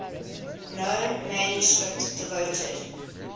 known manuscript devoted